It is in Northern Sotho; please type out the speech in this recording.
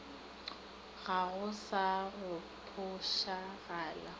ga go sa go phošagala